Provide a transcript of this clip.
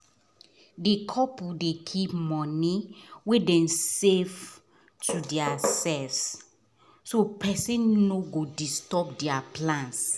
all of us just dey worry um for compound as our um landlord just decide to increase rent